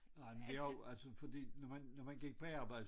Nej men det er jo altså fordi når man når man gik på arbejde